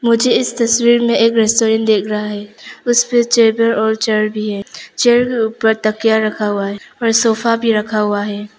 मुझे इस तस्वीर में एक रेस्टोरेंट दिख रहा हैं। उसमें टेबल और चेयर भी है। चेयर के ऊपर तकिया रखा हुआ हैं और सोफा भी रखा हुआ हैं।